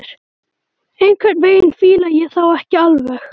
Einhvern veginn fíla ég þá ekki alveg.